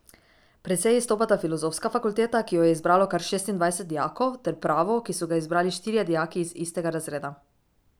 Precej izstopata filozofska fakulteta, ki jo je izbralo kar šestindvajset dijakov, ter pravo, ki so ga izbrali štirje dijaki iz istega razreda.